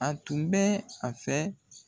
A tun bɛ a fɛ